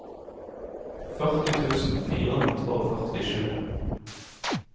førti tusen fire hundre og førtisju